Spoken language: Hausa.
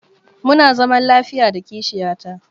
Muna zaman lafiya da kishiya ta.